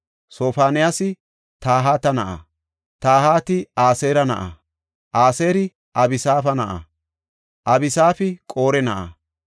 Sofoniyaasi Tahata na7a; Tahati Aseera na7a; Aseeri Abisaafa na7a; Abisaafi Qore na7a;